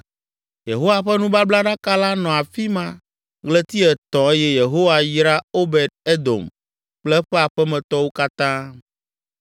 Yehowa ƒe nubablaɖaka la nɔ afi ma ɣleti etɔ̃ eye Yehowa yra Obed Edom kple eƒe aƒemetɔwo katã.